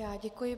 Já děkuji.